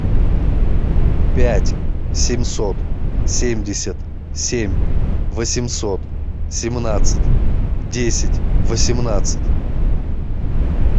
пять семьсот семьдесят семь восемьсот семнадцать десять восемнадцать